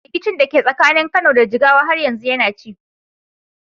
Rikicin da ke tsakanin Kano da Jigawa har yanzu yana ci.